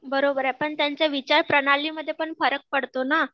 बरोबर आहे पण त्यांच्या विचार प्रणालीमध्ये पण फरक पडतो ना.